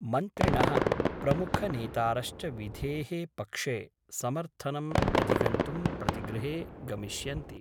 मन्त्रिण: प्रमुखनेतारश्च विधे: पक्षे समर्थनम् अधिगन्तुं प्रतिगृहे गमिष्यन्ति।